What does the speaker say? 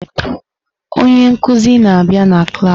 Onye nkuzi na-abịa na klas.